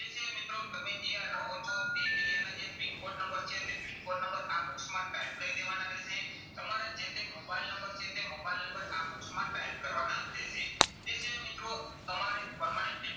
તે સિવાય મિત્રો તમે જ્યાં રહો છો તે area ના જે PIN code નંબર છે તે PIN code નંબર આ box માં type કરી દેવાના રહેશે. તમારા જે તે મોબાઈલ નંબર છે તે મોબાઈલ નંબર આ box માં type કરવાના રહેશે. તે સિવાય મિત્રો તમારે permanent